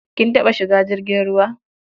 Kin taɓa shiga jirgin ruwa?